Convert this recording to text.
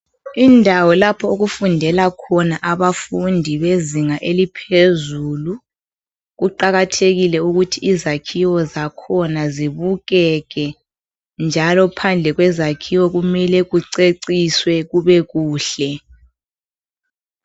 Indawo lapho okufundela khona abafundi bezinga eliphezulu. Kuqakathekile ukuthi izakhiwo zakhona zibukeke njalo phandle kwezakhiwo kumele kuceciswe kubekuhle.